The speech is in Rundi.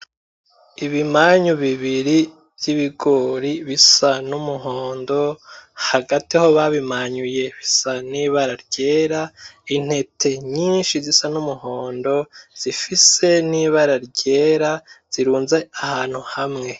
Ibimanyu bibiri vy'ibigori bisa n'umuhondo hagati aho babimanyuye bisa n'ibara ryera , intete nyinshi zisa n'umuhondo zifise n'ibara ryera zirunze ahantu hamwe.